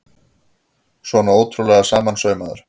Svona ótrúlega samansaumaður!